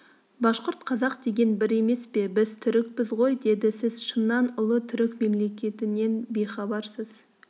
башқұрт қазақ деген бір емес пе біз түрікпіз ғой деді сіз шыннан ұлы түрік мемлекетінен бейхабарсыз